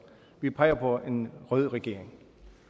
vi peger på en rød regering